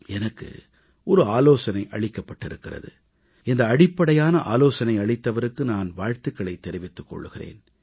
எனக்கு ஆலோசனை அளிக்கப்பட்டிருக்கிறது இந்த அடிப்படையான ஆலோசனை அளித்தவருக்கு நான் வாழ்த்துகளைத் தெரிவித்துக் கொள்கிறேன்